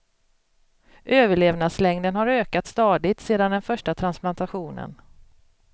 Överlevnadslängden har ökat stadigt sedan den första transplantationen.